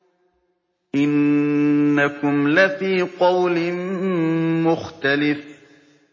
إِنَّكُمْ لَفِي قَوْلٍ مُّخْتَلِفٍ